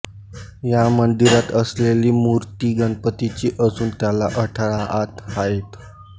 या मंदिरात असलेली मूर्ती गणपतीची असून त्याला अठरा हात आहेत